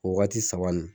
O waati saba nin